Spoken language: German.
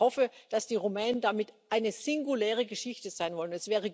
Ich hoffe, dass die Rumänen damit eine singuläre Geschichte sein wollen.